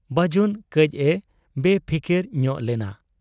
ᱵᱟᱹᱡᱩᱱ ᱠᱟᱹᱡ ᱮ ᱵᱮᱯᱷᱤᱠᱤᱨ ᱧᱚᱜ ᱞᱮᱱᱟ ᱾